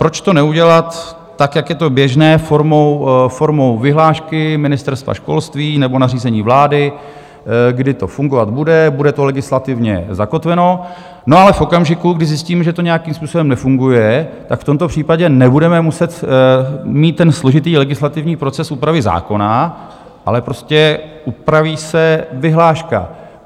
Proč to neudělat tak, jak je to běžné, formou vyhlášky Ministerstva školství nebo nařízení vlády, kdy to fungovat bude, bude to legislativně zakotveno, no ale v okamžiku, kdy zjistím, že to nějakým způsobem nefunguje, tak v tomto případě nebudeme muset mít ten složitý legislativní proces úpravy zákona, ale prostě upraví se vyhláška?